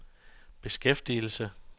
beskæftigelse